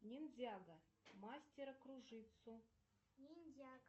ниндзяго мастера кружитцу